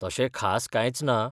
तशें खास कांयच ना.